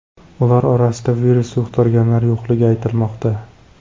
Ular orasida virus yuqtirganlar yo‘qligi aytilmoqda.